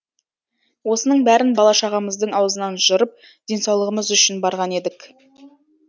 осының бәрін бала шағамыздың аузынан жырып денсаулығымыз үшін барған едік